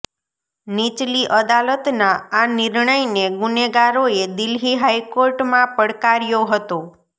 નીચલી અદાલતના આ નિર્ણયને ગુનેગારોએ દિલ્હી હાઈકોર્ટમાં પડકાર્યો હતો